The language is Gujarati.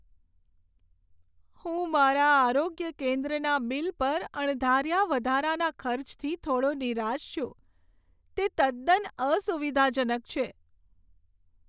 હું મારા આરોગ્ય કેન્દ્રના બિલ પર અણધાર્યા વધારાના ખર્ચથી થોડો નિરાશ છું, તે તદ્દન અસુવિધાજનક છે.